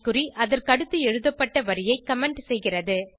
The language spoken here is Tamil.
குறி அதற்கடுத்து எழுதப்பட்ட வரியை கமெண்ட் செய்கிறது